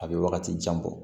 A bɛ wagati jan bɔ